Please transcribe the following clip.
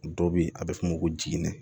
Dɔ be yen a be f'o ma ko jiginɛ